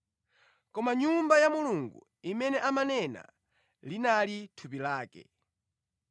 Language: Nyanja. Koma Nyumba ya Mulungu imene amanena linali thupi lake.